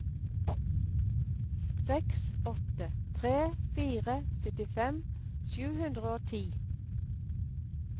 seks åtte tre fire syttifem sju hundre og ti